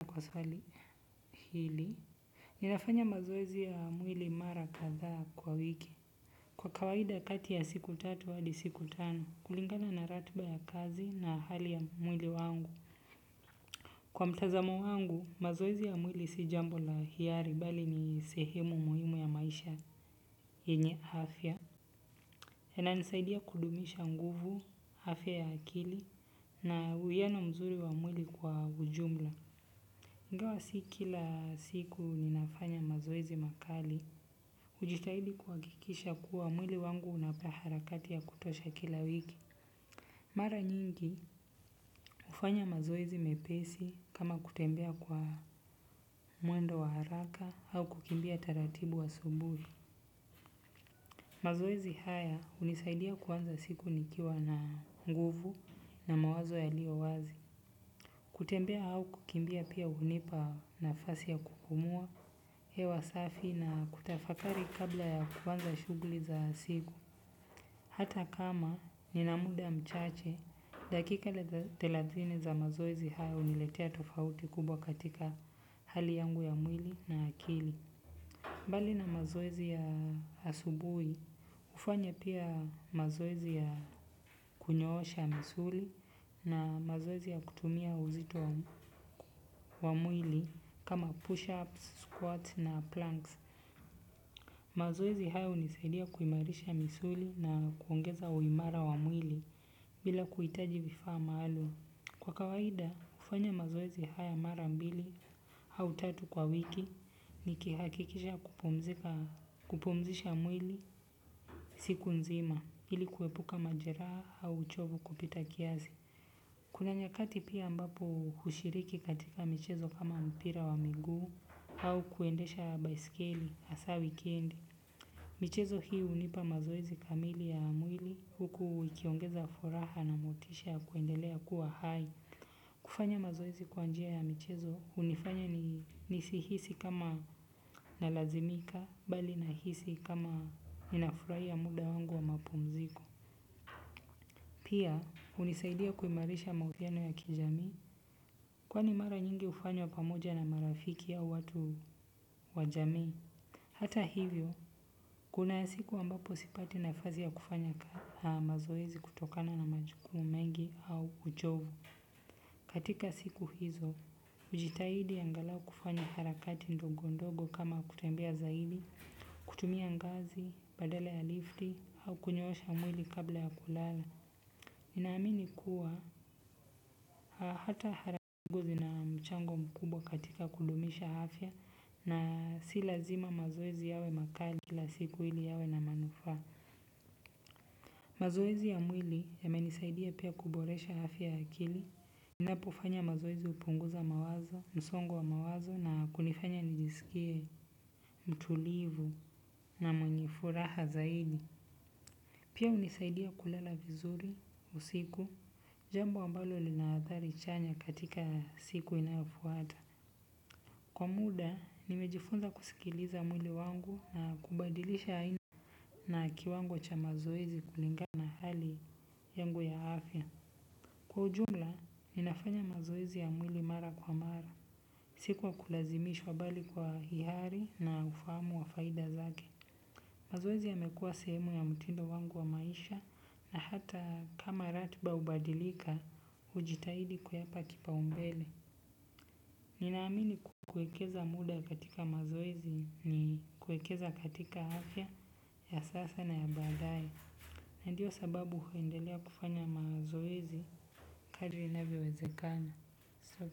Kwa swali hili, ninafanya mazoezi ya mwili mara kadhaa kwa wiki. Kwa kawaida kati ya siku tatu hadi siku tano, kulingana na ratba ya kazi na hali ya mwili wangu. Kwa mtazamo wangu, mazoezi ya mwili si jambo la hiari, bali ni sehemu muhimu ya maisha yenye afya. Inanisaidia kudumisha nguvu, afya ya akili, na uwiano mzuri wa mwili kwa ujumla. Ingawa si kila siku ninafanya mazoezi makali, hujitahidi kuhakikisha kuwa mwili wangu unapea harakati ya kutosha kila wiki. Mara nyingi hufanya mazoezi mepesi kama kutembea kwa mwendo wa haraka au kukimbia taratibu asubuhi. Mazoezi haya hunisaidia kuanza siku nikiwa na nguvu na mawazo yaliyo wazi. Kutembea au kukimbia pia hunipa nafasi ya kupumua, hewa safi na kutafakari kabla ya kuanza shuguli za siku. Hata kama nina muda mchache, dakika thelathini za mazoezi haya huniletea tofauti kubwa katika hali yangu ya mwili na akili. Mbali na mazoezi ya asubuhi, hufanya pia mazoezi ya kunyoosha misuli na mazoezi ya kutumia uzito wa mwili kama push-ups, squats na planks. Mazoezi haya hunisaidia kuimarisha misuli na kuongeza uimara wa mwili bila kuhitaji vifaa maalum. Kwa kawaida, hufanya mazoezi haya mara mbili au tatu kwa wiki ni kihakikisha kupumzisha mwili siku nzima ili kuepuka majeraha au uchovu kupita kiasi. Kuna nyakati pia ambapo hushiriki katika michezo kama mpira wa miguu au kuendesha baiskeli hasa wikendi. Michezo hii hunipa mazoezi kamili ya mwili huku ikiongeza furaha na motisha ya kuendelea kuwa hai. Kufanya mazoezi kwa njia ya michezo hunifanya nisihisi kama nalazimika bali nahisi kama ninafurahia muda wangu wa mapumziko. Pia hunisaidia kuimarisha mahusiano ya kijami kwani mara nyingi hufanywa pamoja na marafiki au watu wajami. Hata hivyo, kuna siku ambapo sipati na fazia kufanya ka mazoezi kutokana na majukumu mengi au uchovu. Katika siku hizo, hujitahidi angalau kufanya harakati ndogo ndogo kama kutembea zaidi, kutumia ngazi, badale ya lifti, au kunyoosha mwili kabla ya kulala. Ninaamini kuwa hata harakati ngu zina mchango mkubwa katika kudumisha afya na si lazima mazoezi yawe makali kila siku ili yawe na manufaa. Mazoezi ya mwili yamenisaidia pia kuboresha afya ya akili napofanya mazoezi hupunguza mawazo, msongo wa mawazo na kunifanya nijiskie mtulivu. Pia hunisaidia kulala vizuri, usiku, jambo ambalo lina athari chanya katika siku inayofuata. Kwa muda, nimejifunza kusikiliza mwili wangu na kubadilisha aina na kiwango cha mazoezi kulingana na hali yangu ya afya. Kwa ujumla, ninafanya mazoezi ya mwili mara kwa mara. Si kwa kulazimishwa bali kwa hiari na ufahamu wa faida zake. Mazoezi yamekuwa sehemu ya mtindo wangu wa maisha na hata kama ratkba hubadilika, hujitahidi kuyapa kipa umbele. Ninaamini kuwekeza muda katika mazoezi ni kuekeza katika afya ya sasa na ya baadaye. Na ndio sababu huendelea kufanya mazoezi kadri inavyowezekana.